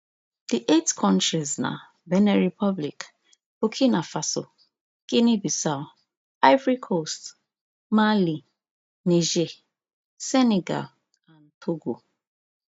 di eight kontris na benin republic burkina faso guineabissau ivory coast mali niger senegal and togo